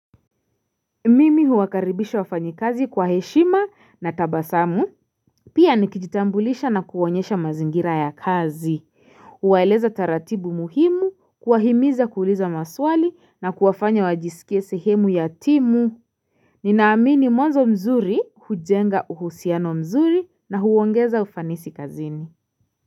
Mimi huakaribisha wafanyi kazi kwa heshima na tabasamu Pia niki jitambulisha na kuwa onyesha mazingira ya kazi Uwaeleza taratibu muhimu, kuwahimiza kuuliza maswali na kuwafanya wajisikie sehemu ya timu Ninaamini mwanzo mzuri hujenga uhusiano mzuri na huwongeza ufanisi kazini.